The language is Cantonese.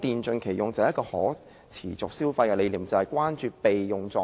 主席，一個可持續消費的理念，便是關注電器的備用狀態。